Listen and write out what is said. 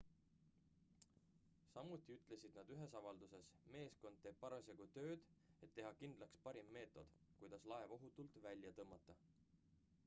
samuti ütlesid nad ühes avalduses meeskond teeb parasjagu tööd et teha kindlaks parim meetod kuidas laev ohutult välja tõmmata